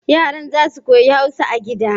Yaran za su koyi Hausa a gida